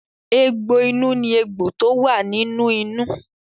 Egbò inú ní egbò tó wà nínú inú.